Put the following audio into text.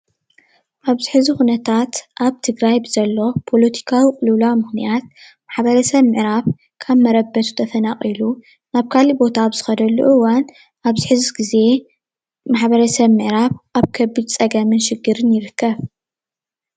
ኣብዚ ሕዚ ኩነታት ኣብ ትግራይ ብዘሎ ፖለቲካዊ ቅልውላው ምኽንያት ማሕበረሰብ ምዕራብ ካብ መረበቱ ተፈናቒሉ ናብ ካሊእ ቦታ ኣብ ዝኸደሉ እዋን ኣብዚ ሕዚ ግዜ ማሕበረሰብ ምዕራብ ኣብ ከቢድ ፀገምን ሽግርን ይርከብ፡፡